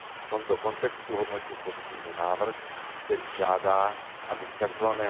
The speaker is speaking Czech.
V tomto kontextu hodnotím pozitivně návrh, který žádá, aby z tzv.